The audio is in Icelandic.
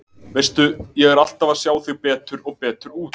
Veistu. ég er alltaf að sjá þig betur og betur út.